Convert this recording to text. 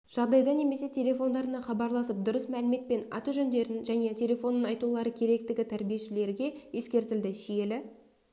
жағдайда немесе телефондарына хабарласып дұрыс мәлімет пен аты-жөндерін және телефонын айтулары керектігі тәрбиешілерге ескертілді шиелі